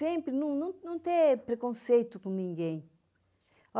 Sempre, não não não ter preconceito com ninguém.